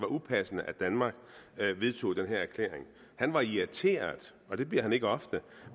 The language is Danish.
upassende at danmark vedtog den her erklæring han var irriteret og det bliver han ikke ofte